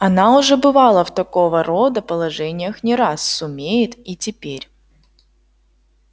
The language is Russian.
она уже бывала в такого рода положениях не раз сумеет и теперь